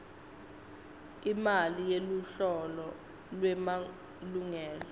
imali yeluhlolo lwemalungelo